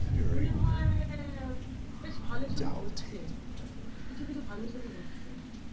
মনে হয় বেশ ভালো ছবি হচ্ছে কিছু কিছু ভালো ছবি হচ্ছে